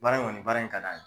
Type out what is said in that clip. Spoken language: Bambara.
Baara in ŋɔni baara in ka d'an y